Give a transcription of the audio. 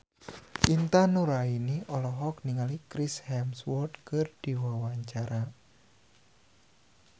Intan Nuraini olohok ningali Chris Hemsworth keur diwawancara